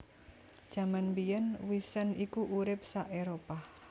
Jaman mbiyèn wisent iku urip sa Éropah